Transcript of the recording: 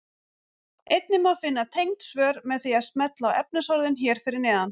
Einnig má finna tengd svör með því að smella á efnisorðin hér fyrir neðan.